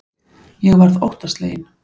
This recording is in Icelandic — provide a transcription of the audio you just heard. Ég varð óttasleginn.